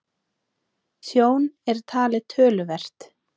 Tjón er talið töluvert